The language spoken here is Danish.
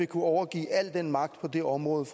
kunne overgive al den magt på det område